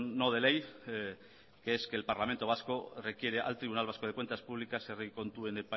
no de ley que es que el parlamento vasco requiere al tribunal vasco de cuentas públicas herri kontuen